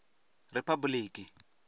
riphabuḽiki